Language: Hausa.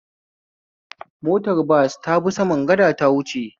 Motar bas tabi saman gada ta wuce